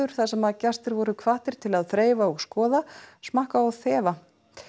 þar sem gestir voru hvattir til að þreifa og skoða smakka og þefa